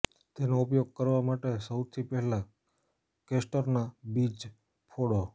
એનો ઉપયોગ કરવા માટે સૌથી પહેલા કેસ્ટરના બીજ ફોડો